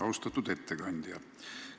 Austatud ettekandja!